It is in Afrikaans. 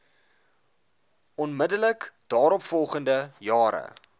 onmiddellik daaropvolgende jare